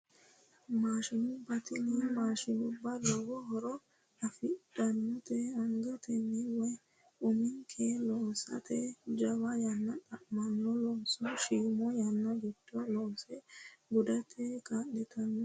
Maashinubba tinu maashinubba lowo horo afidhinote angatenni woyi uminkenni loosate jawa yanna xa'manno looso shiima yanna giddo loose gudate kaa'litanno